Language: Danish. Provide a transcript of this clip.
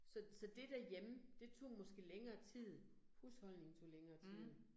Så så det derhjemme, det tog måske længere tid, husholdning tog længere tid